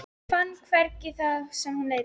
Fann hvergi það sem hún leitaði.